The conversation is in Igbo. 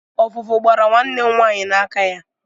Ọvụvụ gbara nwanne m nwaanyị n'aka ya.